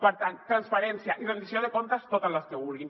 per tant transparència i rendició de comptes totes les que vulguin